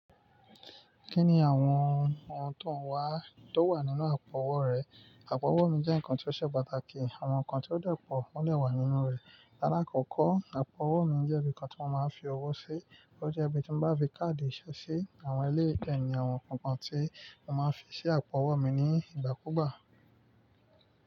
Kí ni àwọn ohun tó n wà tó wà nínú àpò-owó rẹ? Àpò-owó mi jẹ́ ǹkan tí ó ṣe pàtàkì. Àwọn ǹkan tí ó de po ó n de wà nínú rẹ̀. Láàkọ́kọ́, àpò-owó mi jẹ́ ibi kan tí mo máa ń fi owó sí. Ó jẹ́ ibi tí mo bá fi káàdì ìṣe sí. Àwọn ilé ìfẹ́ ni àwọn ǹkankan tí mo máa ń fi sí àpò-owó mi ní ìgbà kúùgbà.